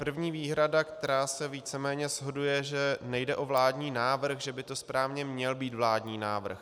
První výhrada, která se víceméně shoduje, že nejde o vládní návrh, že by to správně měl být vládní návrh.